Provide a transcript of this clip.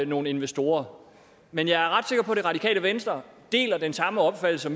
nogle investorer men jeg er ret sikker på at det radikale venstre deler den samme opfattelse